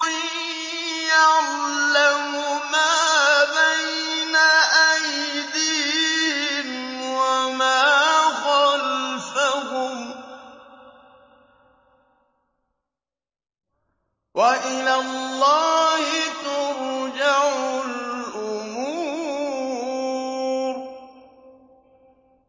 يَعْلَمُ مَا بَيْنَ أَيْدِيهِمْ وَمَا خَلْفَهُمْ ۗ وَإِلَى اللَّهِ تُرْجَعُ الْأُمُورُ